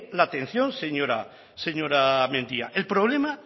la atención señora mendia el problema